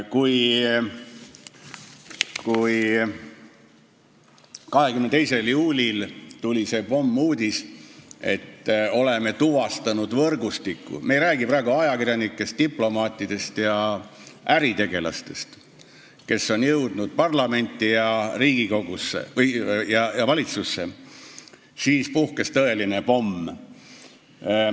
Kui 22. juulil tuli see uudis, et oleme tuvastanud võrgustiku – ma ei räägi praegu ajakirjanikest, diplomaatidest ja äritegelastest, kes on jõudnud parlamenti, Riigikogusse, või valitsusse –, siis lõhkes tõeline pomm.